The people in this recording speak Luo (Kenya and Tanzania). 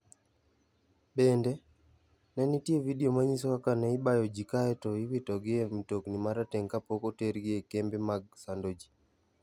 Bende, ne nitie vidio manyiso kaka ne ibayo ji kae to iwitogi e mtokni ma rateng' ka pok otergi e kembe mag sando ji.